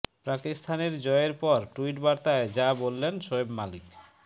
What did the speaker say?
পাকিস্তানের জয়ের পর টুইট বার্তায় যা বললেন শোয়েব মালিক